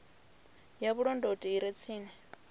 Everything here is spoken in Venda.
ya vhulondoti i re tsini